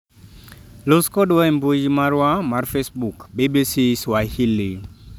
Los kodwa e mbui marwa mar Facebook, bbcSwahili.